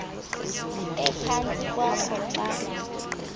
ephantsi kwakho xa